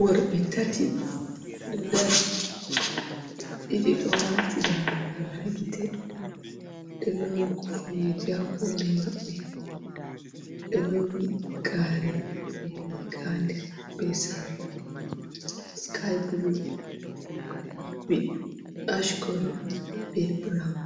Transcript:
Worɓe tati ɗo dari ɗiɗi ɗo wati darugal ha gite, do lowi kufneje ha hore maɓɓe, ɗelowi gare be riga ha nder be sarla sky bulu, zubi ashkolo be burawun